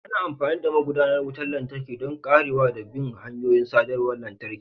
Ana amfani da magudanar wutar lantarki don karewa da bin hanyoyin sadarwar lantarki.